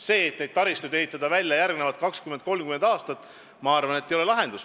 See, et taristuid ehitada välja järgmised 20–30 aastat, ei ole minu arvates lahendus.